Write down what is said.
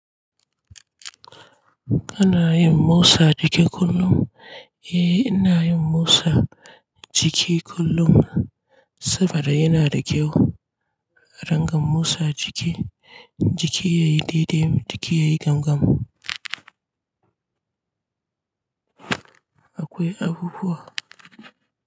Kana yin motsa jiki kullum? Eh, ina yin motsa jiki kullum saboda yana da kyau. Rangan motsa jiki jiki yayi daidai jiki yayi gamgam. Akwai abubuwa.